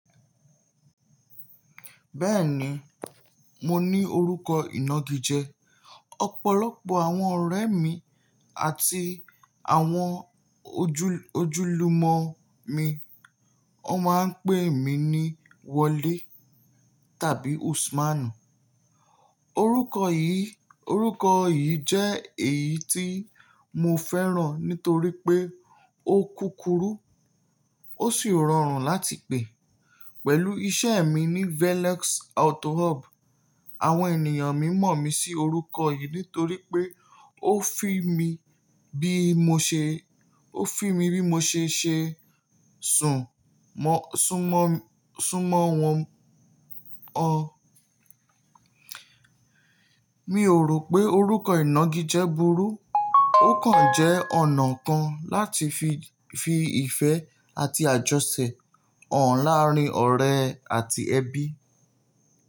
Bẹ́ẹ̀ni, mo ní orúkọ ìnagijẹ. Ọ̀pọ̀lọpọ̀ àwọn ọ̀rẹ́ mi àti àwọn ojú ojúlùmọ̀ mi, wọ́n máa ń pè mí ní Wolé tàbí Usman. Orúkọ yìí jẹ́ èyí tí mo fẹ́ràn nítorí pé ó kúkúrú ó sì rọrùn láti pè. Pẹ̀lú iṣẹ́ mi ní Veleks Autohub, àwọn ènìyàn mímọ̀ mi sí orúkọ yìí nítorí pé ó fi mí bí mo ṣe ń ṣe sùnmọ́ wọn. Mi ò rò pé orúkọ ìnagijẹ burú, ó kàn jẹ́ ọ̀nà kan láti fi ìfẹ́ àti àjọṣẹ̀ hàn láàárín ọ̀rẹ́ àti ẹbí.